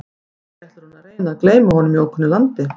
Kannski ætlar hún að reyna að gleyma honum í ókunnu landi?